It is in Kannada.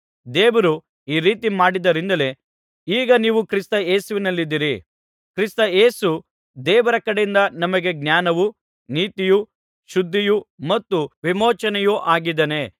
ದೇವರು ಈ ರೀತಿ ಮಾಡಿದ್ದರಿಂದಲೇ ಈಗ ನೀವು ಕ್ರಿಸ್ತ ಯೇಸುವಿನಲ್ಲಿದ್ದೀರಿ ಕ್ರಿಸ್ತ ಯೇಸು ದೇವರ ಕಡೆಯಿಂದ ನಮಗೆ ಜ್ಞಾನವೂ ನೀತಿಯೂ ಶುದ್ಧಿಯೂ ಮತ್ತು ವಿಮೋಚನೆಯು ಆಗಿದ್ದಾನೆ